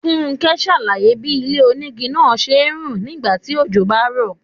Fúnké ṣàlàyé bí ilé-onígi náà ṣe ń rùn nígbà tí ojò bá ń rọ̀.